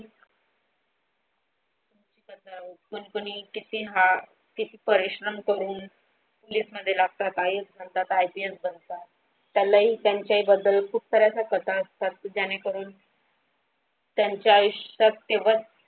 कतनी किती परिश्रम करून Lift मध्ये लागतात आणि IPL बगतात त्यालाही त्यांचा ही बद्दल खुप साऱ्या कथा असता की त्याने करून त्यांच्या आयुष्यात तेव्हा.